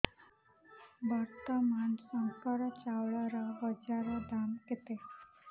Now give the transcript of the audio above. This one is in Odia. ବର୍ତ୍ତମାନ ଶଙ୍କର ଚାଉଳର ବଜାର ଦାମ୍ କେତେ